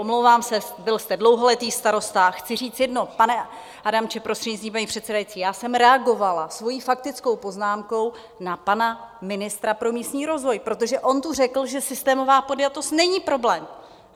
Omlouvám se, byl jste dlouholetý starosta - chci říct jedno, pane Adamče, prostřednictvím paní předsedající, já jsem reagovala svojí faktickou poznámkou na pana ministra pro místní rozvoj, protože on tu řekl, že systémová podjatost není problém.